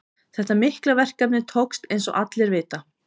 Þetta mikla verkefni tókst eins og allir vita.